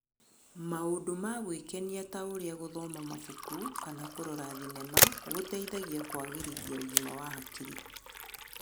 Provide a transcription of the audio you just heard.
Maũndũ ma gwĩkenia ta ũrĩa gũthoma mabuku kana kũrora thinema gũteithagia kũagĩrithia ũgima wa hakiri.